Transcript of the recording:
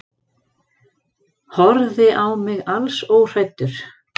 Horfði á mig alls óhræddur.